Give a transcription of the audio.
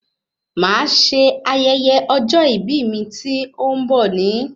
Màá se ayẹyẹ ọjọ́ ìbí mi tí ó ń bọ̀ ní